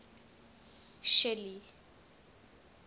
shelly